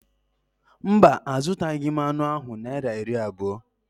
Mba, a zụtaghị m anụ ahụ Naịra iri abụọ